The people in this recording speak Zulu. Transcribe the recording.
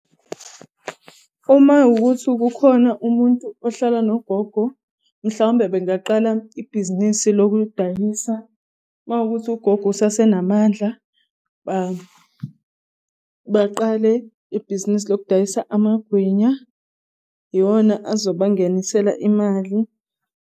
Uma kuwuthi kukhona umuntu ohlala nogogo, mhlawumbe bengaqala ibhizinisi lokudayisa. Mawukuthi ugogo usase namandla baqale ibhizinisi lokudayisa amagwinya. Iyona azoba ngenisela imali.